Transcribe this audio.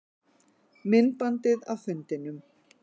Myndbandið af fundinum